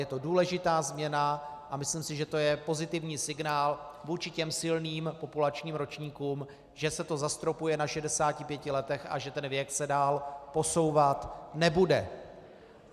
Je to důležitá změna a myslím si, že to je pozitivní signál vůči těm silným populačním ročníkům, že se to zastropuje na 65 letech a že ten věk se dál posouvat nebude.